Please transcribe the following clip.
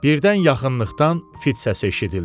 Birdən yaxınlıqdan fit səsi eşidildi.